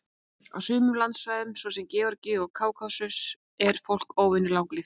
Á sumum landsvæðum, svo sem í Georgíu og Kákasus, er fólk óvenju langlíft.